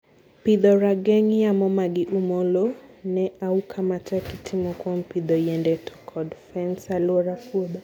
Pidho Rageng yamo: magi umo low ne auka matek, itimo kwom pidho yiende to kod fens e aluora puodho